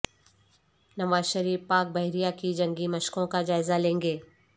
نوازشریف پاک بحریہ کی جنگی مشقوں کا جائزہ لیں گے